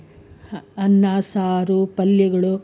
ಅನ್ನ ಸಾರು ಪಲ್ಯಗಳು,